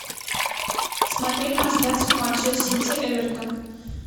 смотреть трансляцию матча сити эвертон